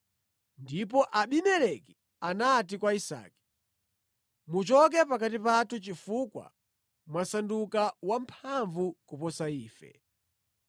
Ndipo Abimeleki anati kwa Isake, “Muchoke pakati pathu chifukwa mwasanduka wamphamvu kuposa ife.”